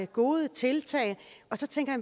gode tiltag og så tænker